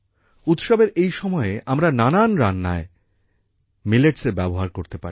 উৎসবের এই সময়ে আমরা নানান রান্নায় মিলেটসের ব্যবহার করতে পারি